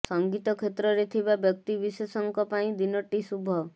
ସଙ୍ଗୀତ କ୍ଷେତ୍ରରେ ଥିବା ବ୍ୟକ୍ତି ବିଶେଷଙ୍କ ପାଇଁ ଦିନଟି ଶୁଭ